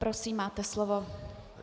Prosím, máte slovo.